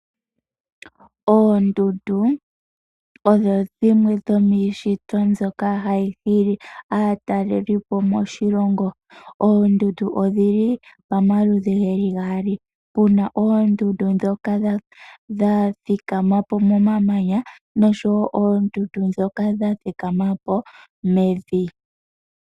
Oondundu odho dhimwe dhomiishitwa mbyoka hayi hili aatalelipo moshilongo. Oondundu odhili pamaludhi geli gaali. Puna oondundu ndoka dha thikama po momamanya nosho wo oondundu ndhoka dha thikama po mevi.